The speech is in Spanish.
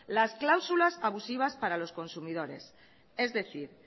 las cláusulas abusivas para los consumidores es decir